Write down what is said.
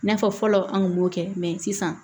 N'a fɔ fɔlɔ an kun b'o kɛ sisan